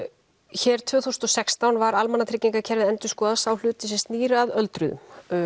hér tvö þúsund og sextán var almannatryggingakerfið endurskoðað sá hluti sem snýr að öldruðum